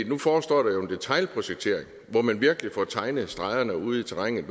nu forestår der jo en detailprojektering hvor man virkelig får tegnet stregerne ude i terrænet